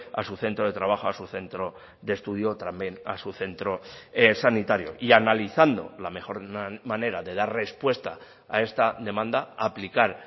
a su centro de trabajo a su centro de estudio o también a su centro sanitario y analizando la mejor la manera de dar respuesta a esta demanda aplicar